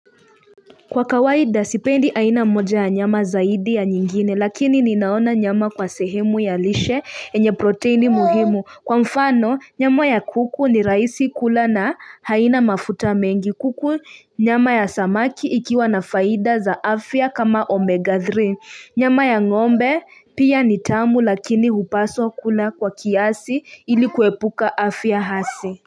Kwa kawaida sipendi aina mmoja ya nyama zaidi ya nyingine lakini ninaona nyama kwa sehemu ya lishe yenye proteini muhimu kwa mfano nyama ya kuku ni rahisi kula na haina mafuta mengi kuku nyama ya samaki ikiwa na faida za afya kama omega 3 nyama ya ngombe pia ni tamu lakini hupaswa kula kwa kiasi ili kuepuka afya hasi.